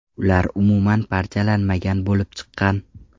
Ular umuman parchalanmagan bo‘lib chiqqan.